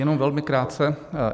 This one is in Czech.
Jenom velmi krátce.